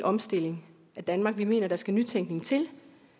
omstilling af danmark vi mener at der skal nytænkning til